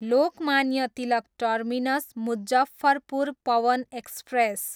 Lokmanya Tilak terminus, Muzaffarpur Pawan express